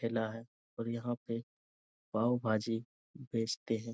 ठेला है और यहाँ पे पाव-भाजी बेचते हैं।